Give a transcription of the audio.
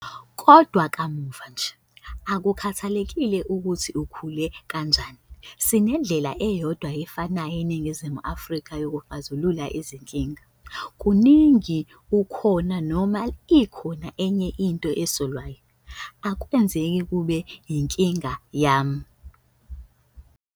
Kodwa kamuva nje, akukhathalekile ukuthi ukhule kanjani, sinendlela eyodwa efanayo eNiningizimu Afrika yokuxazulula izinkinga. Kaningi ukhona noma ikhona enye into esolwayo, akwenzeki kube yinkinga yami.